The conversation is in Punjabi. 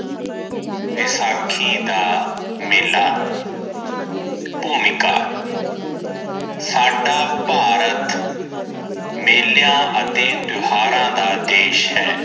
ਵਿਸਾਖੀ ਦਾ ਮੇਲਾ ਭੂਮਿਕਾ ਸਦਾ ਭਾਰਤ ਮੇਲਿਆਂ ਅਤੇ ਤਿਓਹਾਰਾਂ ਦਾ ਦੇਸ਼ ਹੈ